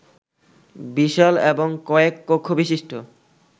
বিশাল এবং কয়েক কক্ষবিশিষ্ট